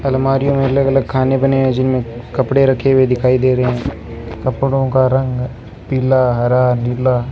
अलमारी में अलग अलग खाने बने हैं जिनमे कपड़े रखे हुए दिखाई दे रहे हैं कपड़ों का रंग पीला हरा नीला --